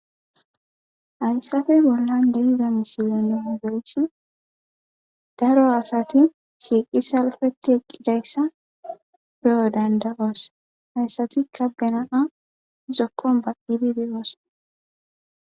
hayssafe bollan deiza misile no beysi daro asati shiiqi salfeti eqqidayssa beyo dandawoos hayssatikka benaa zokkon baqidi deyoos